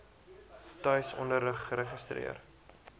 tuis onderrig geregistreer